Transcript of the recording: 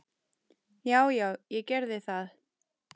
Já, já, ég gerði það.